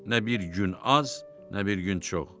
Nə bir gün az, nə bir gün çox.